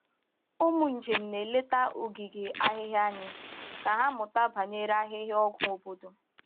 Ụmụ njem na-eleta ogige ahịhịa anyị ka ha mụta banyere ahịhịa ọgwụ obodo.